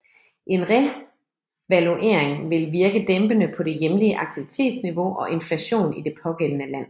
En revaluering vil virke dæmpende på det hjemlige aktivitetsniveau og inflationen i det pågældende land